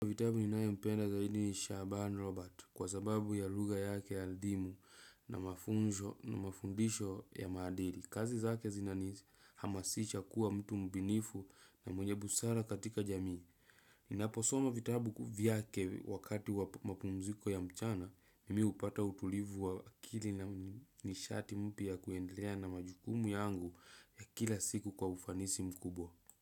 Vitabu ninayo mpenda zaidi nisha shaban Robert kwa sababu ya luga yake ya ldimu na mafundisho ya madili. Kazi zake zinani hamasicha kuwa mtu mbinifu na mwenye busara katika jamii. Ninaposoma vitabu vyake wakati wa mapumziko ya mchana, mimi upata utulivu wa akili na nishati mpia kuendelea na majukumu yangu ya kila siku kwa ufanisi mkubwa.